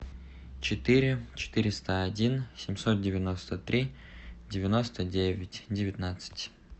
четыре четыреста один семьсот девяносто три девяносто девять девятнадцать